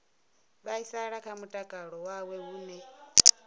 vhaisala kha mutakalo wawe hune